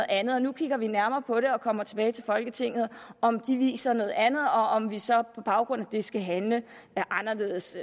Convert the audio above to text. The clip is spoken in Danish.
andet nu kigger vi nærmere på det og kommer tilbage til folketinget om de viser noget andet og om vi så på baggrund af det skal handle anderledes